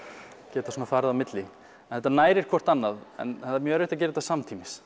geta farið á milli þetta nærir hvort annað en það er mjög erfitt að gera þetta samtímis